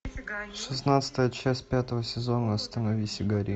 шестнадцатая часть пятого сезона остановись и гори